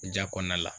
Ja kɔnɔna la